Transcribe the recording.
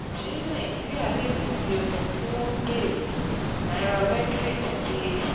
Ṣé Nàìjíríà lè pèsè ohun tí wọ́n ń béèrè? Nairametrics ti